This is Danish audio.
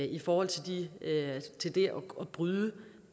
i forhold til det at bryde